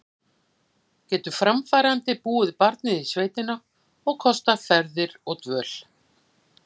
Getur framfærandi búið barnið í sveitina og kostað ferðir og dvöl?